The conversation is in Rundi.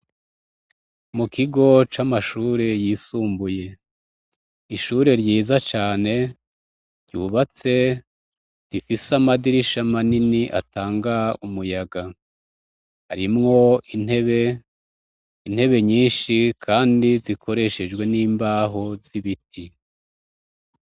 Mu kigo c'amashure yisumbuye. Ishure ryiza cane ryubatse rifise amadirisha manini atanga umuyaga. Arimwo intebe, intebe nyinshi kandi zikoreshejwe n'imbaho z'ibiti.